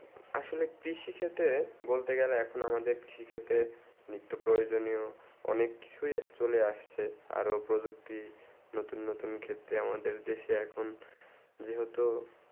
আসলে কৃষি ক্ষেত্রে বলতে গেলে এখন আমাদের কৃষি ক্ষেত্রে নিত্তপ্রজন্যে অনেক কিছু চলে আসছে আরও প্রযুক্তি নতুন নতুন ক্ষেত্রে আমাদের দেশে আখন যে হতো